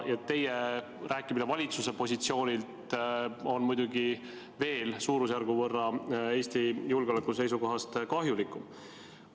Teie rääkimine valitsuse positsioonilt on muidugi Eesti julgeoleku seisukohast veel suurusjärgu võrra kahjulikum.